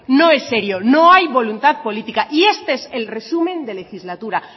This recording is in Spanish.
no es serio no hay voluntad política y este es el resumen de legislatura